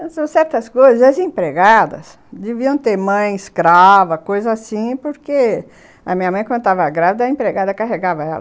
Então, certas coisas, as empregadas deviam ter mãe, escrava, coisa assim, porque a minha mãe, quando estava grávida, a empregada carregava ela.